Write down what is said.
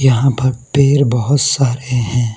यहां भ पेर बहोत सारे हैं।